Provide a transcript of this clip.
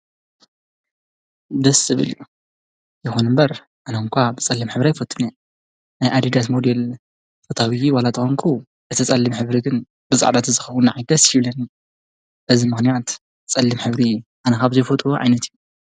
ደስ ዝብል እዩ፡፡ ይኩን እምበር አነ እዃ ብፀሊም ሕብሪ አይፈቱን እየ፡፡ ናይ አዲዳስ ሞዴል ፈታዊ ዋላ እንተኮንኩ እቲ ፀሊም ሕብሪ ግን ብፃዕዳ ተዝኮን ንዓይ ደስ ይብለኒ፡፡ ነዚ ምክንያት ፀሊም ሕብሪ አነ ካብዘይፈትዎ ዓይነት እዩ፡፡